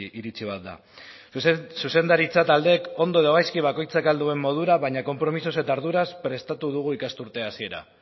iritzi bat da zuzendaritza taldeek ondo edo gaizki bakoitzak ahal duen modura baina konpromisoz eta arduraz prestatu dugu ikasturte hasiera